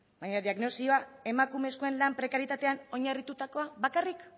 baina diagnosia emakumezkoen lan prekarietatean oinarritutakoa bakarrik